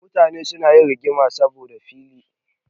Mutane suna yin rigima saboda filaye.